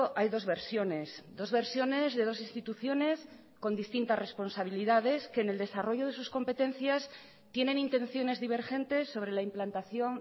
hay dos versiones dos versiones de dos instituciones con distintas responsabilidades que en el desarrollo de sus competencias tienen intenciones divergentes sobre la implantación